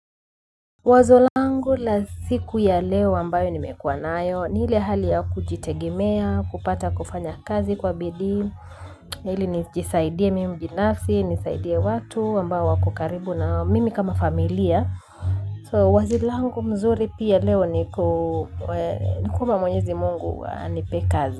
Wazo langu la siku ya leo ambayo nimekuwa nayo ni ile hali ya kujitegemea kupata kufanya kazi kwa bidii ili nijisaidie mimi binafsi nisaidie watu ambao wako karibu na mimi kama familia so wazi langu mzuri pia leo ni kuomba mwenyezi mungu anipee kazi.